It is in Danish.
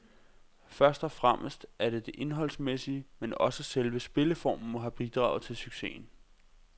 Først og fremmest er der det indholdsmæssige, men også selve spilleformen må have bidraget til successen.